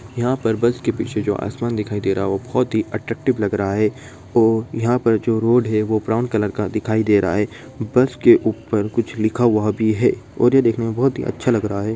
यहां पर बस के पीछे जो आसमान दिखाई दे रहा है वह बहुत ही अट्रैक्टिव लग रहा है ओ यहां पर जो रोड है ब्राउन कलर का दिखाई दे रहा है बस के ऊपर कुछ लिखा हुआ भी है और यह देखने मे बहुत ही अच्छा लग रहा है।